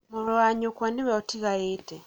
mũriũ wa nyũkwa nĩwe ũtigarĩte